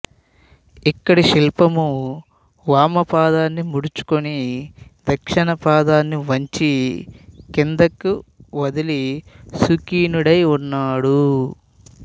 ఇక్కడి శిల్పము వామపాదాన్ని మడుచుకొని దక్షిణపాదాన్ని వంచి కిందకు వదలి సుఖాసీనుడై ఉన్నాడు